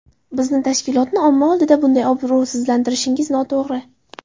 Bizni tashkilotni omma oldida bunday obro‘sizlantirishingiz noto‘g‘ri”.